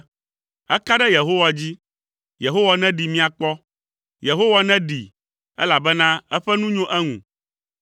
“Eka ɖe Yehowa dzi, Yehowa neɖee míakpɔ. Yehowa neɖee, elabena eƒe nu nyo eŋu.”